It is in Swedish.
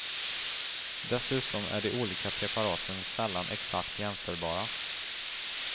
Dessutom är de olika preparaten sällan exakt jämförbara.